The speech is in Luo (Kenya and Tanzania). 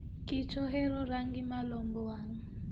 kich ohero rangi ma lombo wang'.